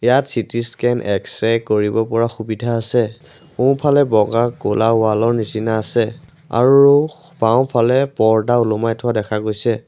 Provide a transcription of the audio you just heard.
ইয়াত C T scan X-ray কৰিব পৰা সুবিধা আছে সোঁফালে বগা ক'লা ৱাল ৰ নিচিনা আছে আৰু বাওঁফালে পৰ্দা ওলোমাই থোৱা দেখা গৈছে।